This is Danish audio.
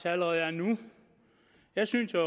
allerede er nu jeg synes jo